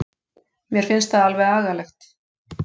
Mér finnst það alveg agalegt.